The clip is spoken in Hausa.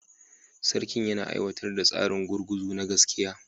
Sarki yana aiwatar da tsarin gurguzu na gaskiya